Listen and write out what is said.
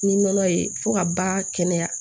Ni nɔnɔ ye fo ka ba kɛnɛya